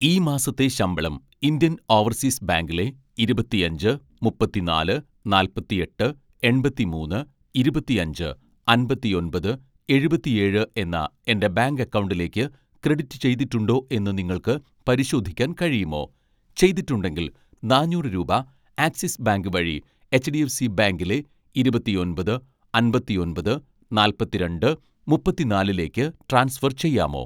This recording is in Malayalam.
ഈ മാസത്തെ ശമ്പളം ഇന്ത്യൻ ഓവർസീസ് ബാങ്കിലെ ഇരുപത്തിയഞ്ച് മുപ്പത്തിനാല് നാല്പത്തിയെട്ട് എണ്‍പത്തിമൂന്ന് ഇരുപത്തിയഞ്ച് അമ്പത്തിയൊന്‍പത് എഴുപത്തിയേഴ് എന്ന എൻ്റെ ബാങ്ക് അക്കൗണ്ടിലേക്ക് ക്രെഡിറ്റ് ചെയ്തിട്ടുണ്ടോ എന്ന് നിങ്ങൾക്ക് പരിശോധിക്കാൻ കഴിയുമോ, ചെയ്തിട്ടുണ്ടെങ്കിൽ നാനൂറ് രൂപ ആക്‌സിസ് ബാങ്ക് വഴി എച്ച്ഡിഎഫ്സി ബാങ്കിലേ ഇരുപത്തിയൊന്‍പത് അമ്പത്തിഒന്‍പത് നാല്‍പത്തിരണ്ട് മുപ്പത്തിനാലിലേക്ക് ട്രാൻസ്ഫർ ചെയ്യാമോ?